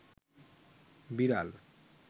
বিড়াল